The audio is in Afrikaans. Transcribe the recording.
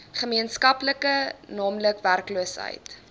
gemeenskaplik naamlik werkloosheid